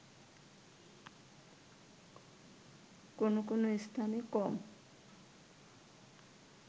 কোনো কোনো স্থানে কম